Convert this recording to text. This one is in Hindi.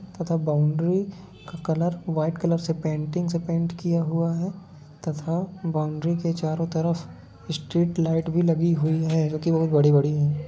तथा बाउंड्री का कलर वाइट कलर से पेंटिंग से पैंट किया हुआ है तथा बाउंड्री के चारों तरफ स्ट्रीट लाइट भी लगी हुई है जो की बहोत बड़ी-बड़ी है।